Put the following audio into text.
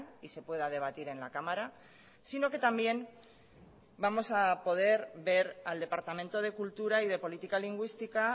y se pueda debatir en la cámara sino que también vamos a poder ver al departamento de cultura y de política lingüística